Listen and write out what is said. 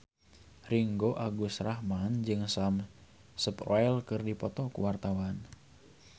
Ringgo Agus Rahman jeung Sam Spruell keur dipoto ku wartawan